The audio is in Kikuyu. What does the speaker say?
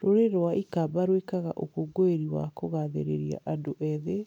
Rũrĩrĩ rwa iKamba rwĩkaga ũkũngũĩri wa kũgaathĩrĩria andũ ethĩ